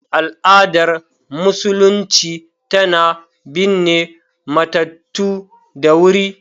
Al’adar Musulunci tana binne matattu da wuri.